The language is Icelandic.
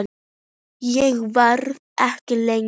Ég verð ekki lengi